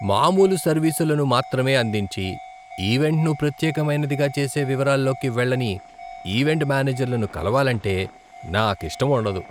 మామూలు సర్వీసులను మాత్రమే అందించి, ఈవెంట్ను ప్రత్యేకమైనదిగా చేసే వివరాల్లోకి వెళ్ళని ఈవెంట్ మేనేజర్లను కలవాలంటే నాకిష్టముండదు.